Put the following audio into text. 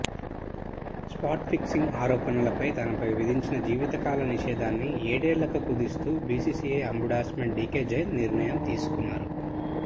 spot fixing ఆరోపణలపై తనపై విధించిన జీవితకాల నిషేధాన్ని ఏడేళ్లకు కుదిస్తూ బీసీసీఐ అంబుడ్స్మన్ డీకే జైన్ నిర్ణయం తీసుకున్నారు